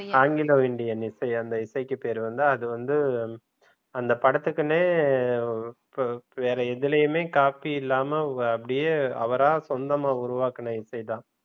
Anglo Indian இசைக்கு பேரு வந்து அது வந்து அந்த படத்துக்குனே வேற எதுலயுமே காப்பி இல்லாம அப்படியே அவரா சொந்தமாக உருவாக்கின இசை தான்